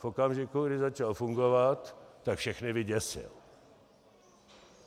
V okamžiku, kdy začal fungovat, tak všechny vyděsil.